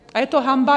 A je to hanba.